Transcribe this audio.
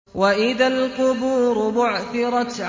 وَإِذَا الْقُبُورُ بُعْثِرَتْ